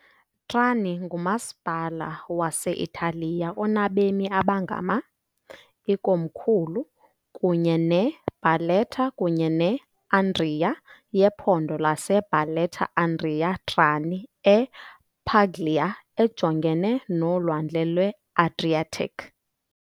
Trani ngumasipala wase-Italiya onabemi abangama , ikomkhulu, kunye ne- Barletta kunye ne- Andria, yephondo lase-Barletta-Andria-Trani e- Puglia, ejongene noLwandle lwe-Adriatic .